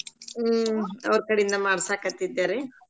ಹ್ಮ್‌ ಅವ್ರ್‌ ಕಡಿಂದ ಮಾಡ್ಸಾಕ್ಹತ್ತಿದ್ದೆರಿ.